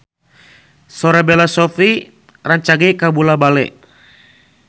Sora Bella Shofie rancage kabula-bale